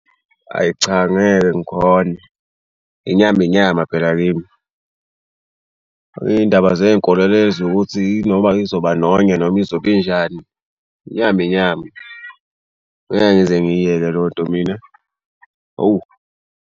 Ayi cha ngeke ngikhone inyama inyama phela kimi. Iy'ndaba zey'nkolelo ezokuthi noma izoba nonya noma izobe injani. Inyama inyama ngeke ngize ngiyiyeke lo nto mina hawu.